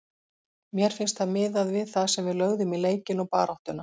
Mér finnst það miðað við það sem við lögðum í leikinn og baráttuna.